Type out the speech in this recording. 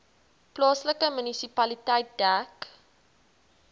plaaslike munisipaliteit dek